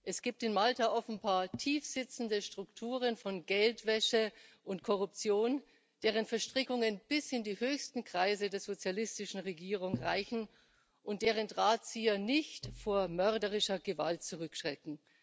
Es gibt in Malta offenbar tief sitzende Strukturen von Geldwäsche und Korruption, deren Verstrickungen bis in die höchsten Kreise der sozialistischen Regierung reichen und deren Drahtzieher nicht vor mörderischer Gewalt zurückschrecken.